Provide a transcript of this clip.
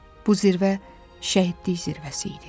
Bu zirvə şəhidlik zirvəsi idi.